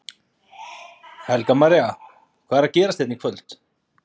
Helga María: Hvað er að gerast hérna í kvöld?